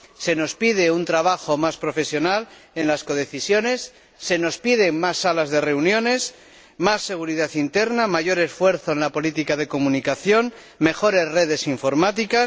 se nos pide un trabajo más profesional en las codecisiones, se nos piden más salas de reuniones, más seguridad interna, mayor esfuerzo en la política de comunicación, mejores redes informáticas...